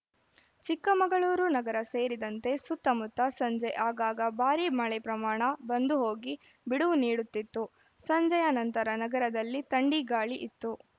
ಚಿಕ್ಕಮಗಳೂರು ನಗರ ಸೇರಿದಂತೆ ಸುತ್ತಮುತ್ತ ಸಂಜೆ ಆಗಾಗ ಭಾರೀ ಮಳೆ ಪ್ರಮಾಣ ಬಂದು ಹೋಗಿ ಬಿಡುವು ನೀಡುತ್ತಿತ್ತು ಸಂಜೆಯ ನಂತರ ನಗರಲ್ಲಿ ಥಂಡಿ ಗಾಳಿ ಇತ್ತು